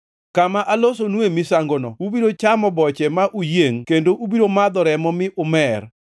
Kama alosonue misangono ubiro chamo boche ma uyiengʼ kendo ubiro madho remo mi umer.